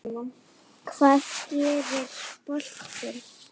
Hvað gerir boltinn?